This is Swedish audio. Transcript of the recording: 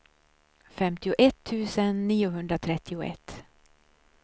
femtioett tusen niohundratrettioett